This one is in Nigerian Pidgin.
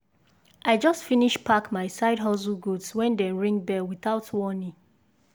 i just finish pack my side hustle goods when dem ring bell without warning.